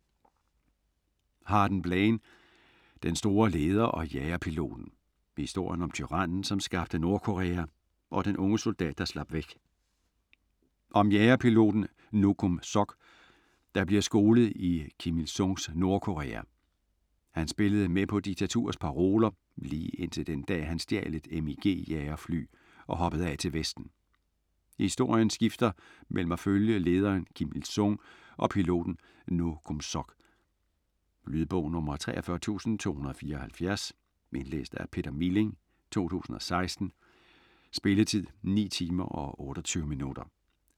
Harden, Blaine: Den store leder og jagerpiloten: historien om tyrannen, som skabte Nordkorea, og den unge soldat, der slap væk Om jagerpiloten No Kum Sok der bliver skolet i Kim Il Sungs Nordkorea. Han spillede med på diktaturets paroler, lige indtil den dag han stjal et MiG jagerfly og hoppede af til vesten. Historien skifter mellem at følge lederen Kim Ill Sung og piloten No Kum Sok. Lydbog 43274 Indlæst af Peter Milling, 2016. Spilletid: 9 timer, 28 minutter.